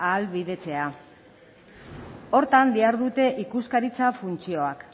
ahalbidetzea horretan dihardute ikuskaritza funtzioak